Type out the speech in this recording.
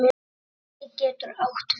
Holtið getur átt við